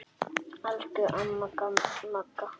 Elsku amma Magga.